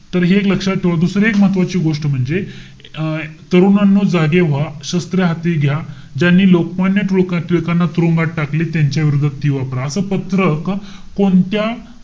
तर हे एक लक्षात ठेवा. दुसरं एक महत्वाची गोष्ट म्हणजे, अं तरुणांनो जागे व्हा. शस्त्र हाती घ्या. ज्यांनी लोकमान्य टिळक~ टिळकांना तुरुंगात टाकले. त्यांच्याविरुद्ध ती वापरा. असं पत्रक कोणत्या,